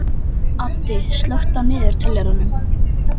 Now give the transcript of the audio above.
Addi, slökktu á niðurteljaranum.